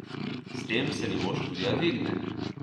S tem se nivo študija dvigne.